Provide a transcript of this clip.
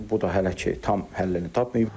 Bu da hələ ki tam həllini tapmayıb.